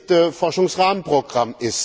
7. Forschungsrahmenprogramm.